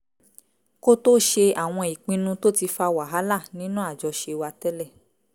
kó tó ṣe àwọn ìpinnu tó ti fa wàhálà nínú àjọṣe wa tẹ́lẹ̀